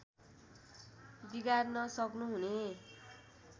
बिगार्न सक्नु हुने